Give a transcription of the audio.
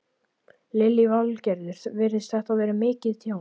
Lillý Valgerður: Virðist þetta vera mikið tjón?